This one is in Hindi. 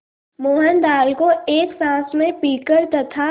मोहन दाल को एक साँस में पीकर तथा